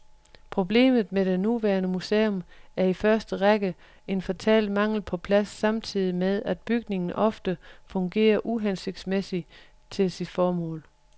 Problemet med det nuværende museum er i første række en fatal mangel på plads samtidig med at bygningen ofte fungerer uhensigtsmæssigt til sit formål.